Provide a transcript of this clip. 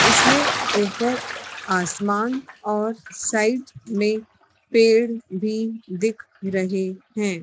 इसमें ऊपर आसमान और साइड में पेड़ भी दिख रहे हैं।